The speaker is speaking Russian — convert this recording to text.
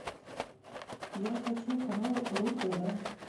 я хочу канал ру тв